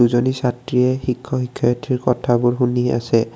এজনী ছাত্ৰীয়ে শিক্ষক শিক্ষয়িত্ৰী কথাবোৰ শুনি আছে।